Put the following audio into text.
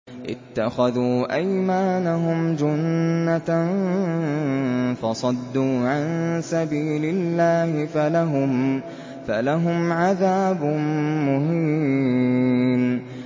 اتَّخَذُوا أَيْمَانَهُمْ جُنَّةً فَصَدُّوا عَن سَبِيلِ اللَّهِ فَلَهُمْ عَذَابٌ مُّهِينٌ